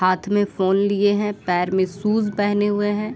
हाथ में फ़ोन लिए है पैर में शूज पहने हुए है।